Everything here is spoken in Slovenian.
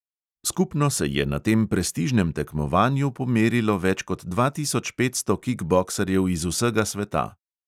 Skupno se je na tem prestižnem tekmovanju pomerilo več kot dva tisoč petsto kikboksarjev iz vsega sveta.